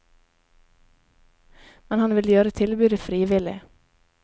Men han vil gjøre tilbudet frivillig.